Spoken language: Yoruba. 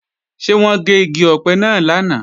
Ṣé wọ́n gé igi ọ̀pẹ náà lánàá?